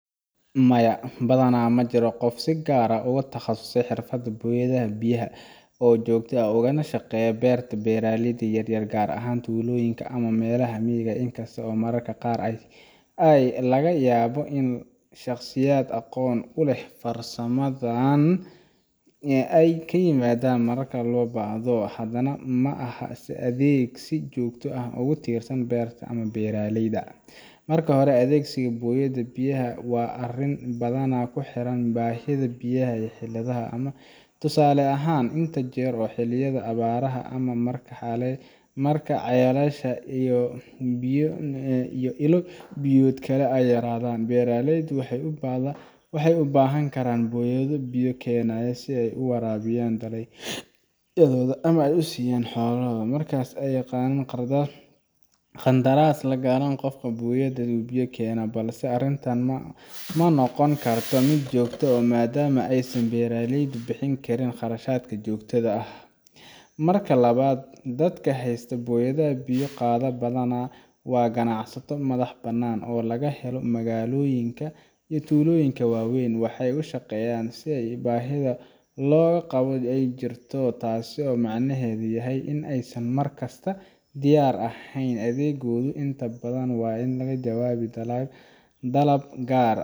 Maya, badanaa ma jiro qof si gaar ah ugu takhasusay xirfadda booyadda biyaha oo joogto uga shaqeeya beerta beeraleyda yar yar, gaar ahaan tuulooyinka ama meelaha miyiga ah. In kasta oo mararka qaar laga yaabo in shaqsiyaad aqoon u leh farsamadaas ay yimaadaan marka loo baahdo, haddana ma aha adeeg si joogto ah uga tirsan beerta ama beeraleyda. Marka hore, adeegsiga booyadda biyaha waa arrin badanaa ku xiran baahida biyaha ee xilliyeedka ah. Tusaale ahaan, inta lagu jiro xilliyada abaaraha ama marka ceelasha iyo ilo-biyoodka kale ay yaraadaan, beeraleydu waxay u baahan karaan booyado biyo keenaya si ay u waraabiyaan dalagyadooda ama u siiyaan xoolaha. Markaas ayay qandaraas la galaan qof leh booyad oo biyo keena, balse arrintan ma noqon karto mid joogto ah maadaama aysan beeraleydu bixin karin kharashka joogtada ah. Marka labaad, dadka haysta booyado biyo qaada badanaa waa ganacsato madax bannaan oo laga helo magaalooyinka ama tuulooyinka waaweyn. Waxay u shaqeeyaan si baahida loo qabo ay jirto, taasoo micnaheedu yahay in aysan mar kasta diyaar ahayn. Adeeggoodu inta badan waa ka jawaabid dalab gaar ah,